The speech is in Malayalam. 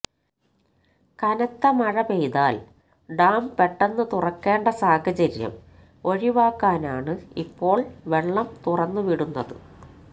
കനത്ത മഴ പെയ്താൽ ഡാം പെട്ടെന്ന് തുറക്കേണ്ട സാഹചര്യം ഒഴിവാക്കാനാണ് ഇപ്പോള് വെള്ളം തുറന്നു വിടുന്നത്